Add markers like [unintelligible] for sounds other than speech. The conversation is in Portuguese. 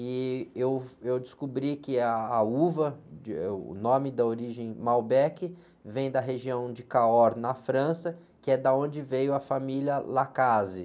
E eu, eu descobri que é a, a uva, [unintelligible] o nome da origem Malbec, vem da região de, [unintelligible] na França, que é da onde veio a família. [unintelligible]